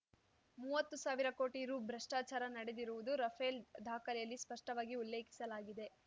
ಮುವ್ವತ್ತು ಸಾವಿರ ಕೋಟಿ ರೂ ಭ್ರಷ್ಟಾಚಾರ ನಡೆದಿರುವುದು ರಫೇಲ್ ದಾಖಲೆಯಲ್ಲಿ ಸ್ಪಷ್ಟವಾಗಿ ಉಲ್ಲೇಖಿಸಲಾಗಿದೆ